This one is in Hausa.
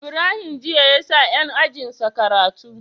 Ibrahim jiya yasa yan ajinsa karatu